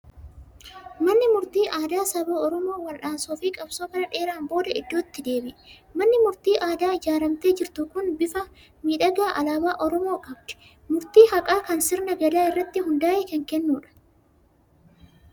Manni murtii aadaa saba Oromoo wal'aansoo fi qabsoo bara dheeraan booda iddootti deebi'e. Manni murtii aadaa ijaaramtee jirtu kun bifa miidhagaa alaabaa Oromoo qabdi! Murtii haqaa kan sirna Gadaa irratti hundaa'e kennudha.